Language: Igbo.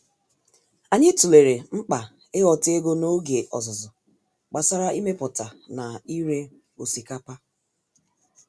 Anyị tụlere mkpa ịghọta ego n’oge ọzụzụ gbasara imepụta na ire osikapa